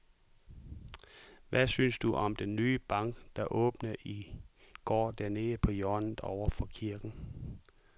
Hvad synes du om den nye bank, der åbnede i går dernede på hjørnet over for kirken?